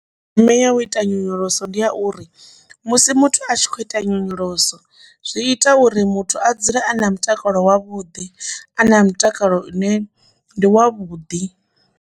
Ndeme ya u ita nyonyoloso ndi ya uri musi muthu a tshi khou ita nyonyoloso zwi ita uri muthu a dzule a na mutakalo wavhuḓi a na mutakalo une ndi wa vhuḓi.